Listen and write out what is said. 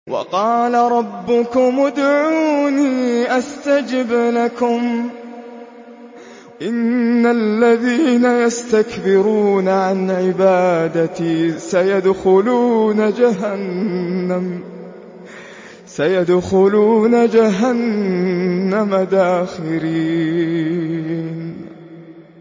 وَقَالَ رَبُّكُمُ ادْعُونِي أَسْتَجِبْ لَكُمْ ۚ إِنَّ الَّذِينَ يَسْتَكْبِرُونَ عَنْ عِبَادَتِي سَيَدْخُلُونَ جَهَنَّمَ دَاخِرِينَ